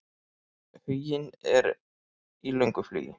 Huginn er í löngu flugi.